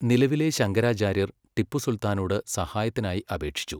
നിലവിലെ ശങ്കരാചാര്യർ ടിപ്പു സുൽത്താനോട് സഹായത്തിനായി അപേക്ഷിച്ചു.